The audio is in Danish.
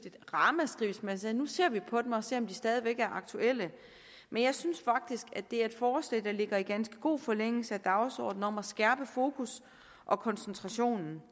et ramaskrig hvis man sagde nu ser vi på dem og ser om de stadig væk er aktuelle men jeg synes faktisk det er et forslag der ligger i ganske god forlængelse af dagsordenen om at skærpe fokus og koncentration